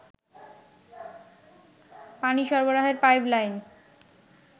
পানি সরবরাহের pipe line